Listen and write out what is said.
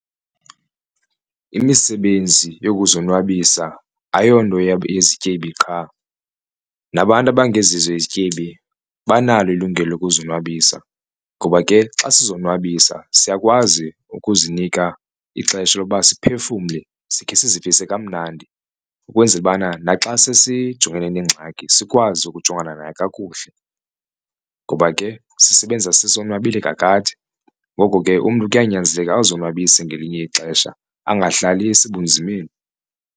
Imisebenzi yokuzonwabisa ayonto yezityebi qha nabantu abangezizo izityebi banalo ilungelo lokuzonwabisa ngoba ke xa sizonwabisa siyakwazi ukuzinika ixesha loba siphefumle sikhe sizivise kamnandi ukwenzela ubana naxa sesijongene neengxaki sikwazi ukujongana nayo kakuhle. Ngoba ke sisebenzisa sisonwabile kakade ngoko ke umntu kuyanyanzeleka azonwabise ngelinye ixesha angahlali esebunzimeni.